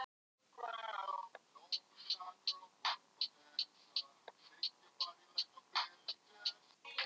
Merkilegt að hún Heiða fékk alltaf allt sem hún vildi.